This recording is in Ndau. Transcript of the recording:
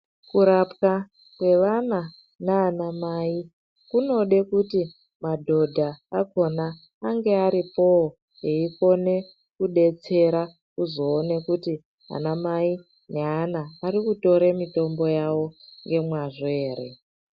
Kurapwa kwevana nanamai kunode kuti madhodha akona ange aripoo eikone kudetsera kuzoona kuti ana mai neana arikutora mitombo yawo nemazvo ere.